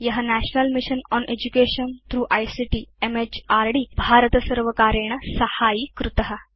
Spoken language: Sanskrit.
य national mission on education through ICT MHRD भारतसर्वकारेण साहाय्यीकृत